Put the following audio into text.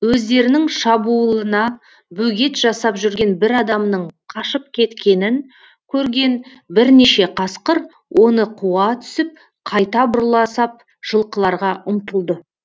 өздерінің шабуылына бөгет жасап жүрген бір адамның қашып кеткенін көрген бірнеше қасқыр оны қуа түсіп қайта бұрыла сап жылқыларға ұмтылды